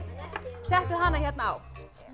settuð hana hérna á